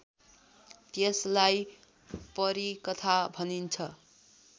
त्यसलाई परिकथा भनिन्छ